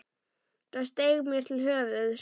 Það steig mér til höfuðs.